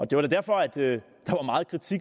det var derfor at der